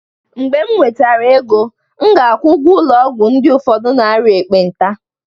mgbe m nwetara ego, m ga-akwụ ụgwọ ụlọ ọgwụ nke ụfọdụ ndị na-arịa ekpenta